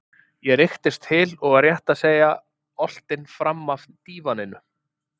ég rykktist til og var rétt að segja oltinn framaf dívaninum.